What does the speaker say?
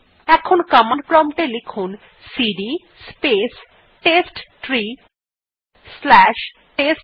এখন command prompt এ লিখুন CD space test tree slash test three